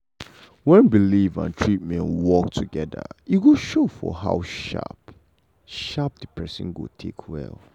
when belief and treatment work together e go show for how sharp sharp the person go take well.